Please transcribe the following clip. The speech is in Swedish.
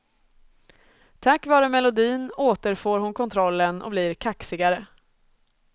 Tack vare melodin återfår hon kontrollen och blir kaxigare.